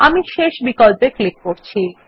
আমি শেষ বিকল্পে ক্লিক করছি